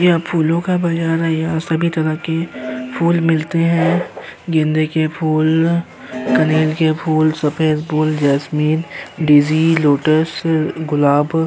यहाँ फुलों का बाजार है यह सभी तरह की फूल मिलते है गेंदे के फूल कनेर के फूल सफ़ेद फूल जैस्मिन डीजी लोटस गुलाब --